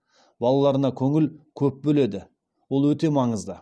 балаларына көңіл көп бөледі ол өте маңызды